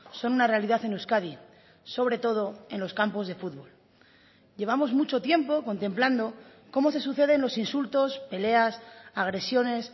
son una realidad en euskadi sobre todo en los campos de futbol llevamos mucho tiempo contemplando cómo se suceden los insultos peleas agresiones